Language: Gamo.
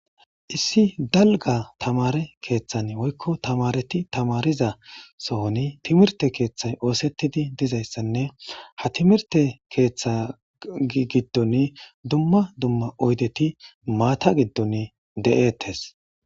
Issi dalga tammare keththan woykko tammaret tammreza sohonne timmert keththan osetide de'zayisanne ha timmrete keththa giddon dumma dumma oyidet matta giddon detes.